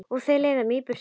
Og þau leiða mig burt.